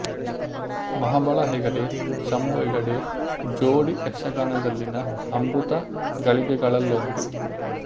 ಮಹಾಬಲ ಹೆಗಡೆ ಶಂಭು ಹೆಗಡೆ ಜೋಡಿ ಯಕ್ಷಗಾನದಲ್ಲಿನ ಅಮೃತ ಗಳಿಗೆಗಳಲ್ಲೊಂದು